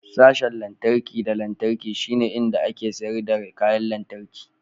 Sashen lantarki da lantarki shine inda ake sayar da kayan lantarki.